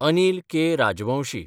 Anil K. Rajvanshi